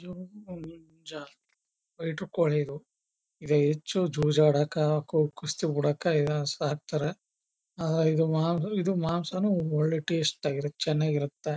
Fighter ಕೋಳಿ ಇದು ಇದು ಹೆಚ್ಚು ಜೂಜ್ಜ್ ಆಡಾಕ ಕುಸ್ತಿ ಬಿಡಾಕ ಸಾಕ್ತರ ಆದ್ರೂ ಇದು ಮಾಂಸನು ಒಳ್ಳೆ ಟೇಸ್ಟ್ ಆಗಿ ಚನ್ನಗಿರುತ್ತ.